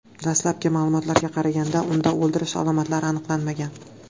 Dastlabki ma’lumotlarga qaraganda, unda o‘ldirish alomatlari aniqlanmagan.